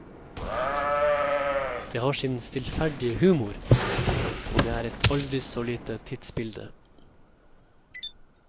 Det har sin stillferdige humor, og det er et aldri så lite tidsbilde.